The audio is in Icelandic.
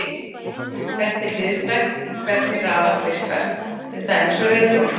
Þetta er hliðstætt því hvernig rafall virkar, til dæmis á reiðhjóli.